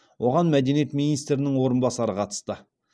оған мәдениет министрінің орынбасары қатысты